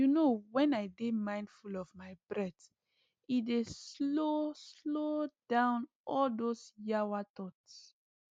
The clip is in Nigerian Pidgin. you know when i dey mindful of my breath e dey slow slow down all those yawa thoughts